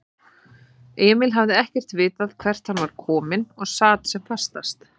Emil hafði ekkert vitað hvert hann var kominn og sat því sem fastast.